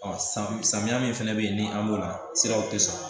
samiya min fɛnɛ bɛ ye ni an b'o la siraw tɛ sɔrɔ